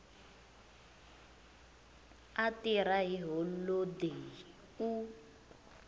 a tirha hi holodeyi u